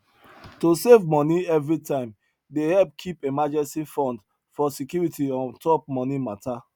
to save money every time dey help keep emergency fund for security on top money matter